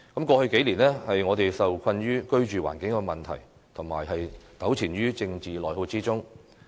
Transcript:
過去數年，我們受困於居住環境問題，糾纏在政治內耗之中。